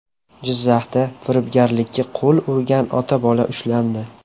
Jizzaxda firibgarlikka qo‘l urgan ota-bola ushlandi.